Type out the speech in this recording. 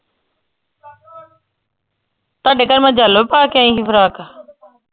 ਤਾਡੇ ਘਰ ਮੈਂ yellow ਪਾ ਕੇ ਆਈ ਹੀ ਫਰਾਕ।